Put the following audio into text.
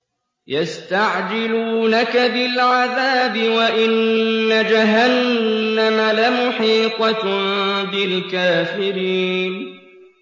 يَسْتَعْجِلُونَكَ بِالْعَذَابِ وَإِنَّ جَهَنَّمَ لَمُحِيطَةٌ بِالْكَافِرِينَ